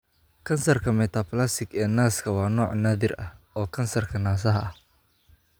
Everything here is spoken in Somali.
Kansarka Metaplastic ee naaska waa nooc naadir ah oo kansarka naasaha ah.